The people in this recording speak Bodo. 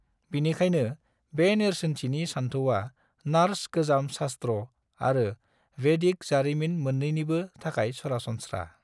बिनिखायनो बे नेरसोनथि सानथौआ नर्स गोजाम सास्ट्र' आरो भेदिक जारिमिन मोन्नैनिबो थाखाय सरासनस्रा।